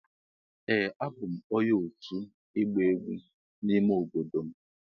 Ee a bụ m onye otu igba egwu n'ime obodo m.